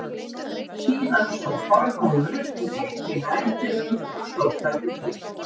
Síðan stóð Þormóður upp og gekk inn að eldinum og stóð þar um hríð.